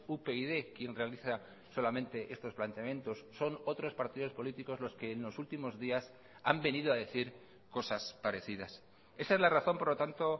upyd quien realiza solamente estos planteamientos son otros partidos políticos los que en los últimos días han venido a decir cosas parecidas esa es la razón por lo tanto